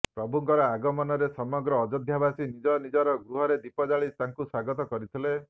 ପ୍ରଭୁଙ୍କର ଆଗମନରେ ସମଗ୍ର ଅଯୋଧ୍ୟାବାସୀ ନିଜ ନିଜର ଗୃହରେ ଦୀପ ଜାଳି ତାଙ୍କୁ ସ୍ୱାଗତ କରିଥିଲେ